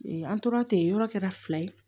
an tora ten yɔrɔ kɛra fila ye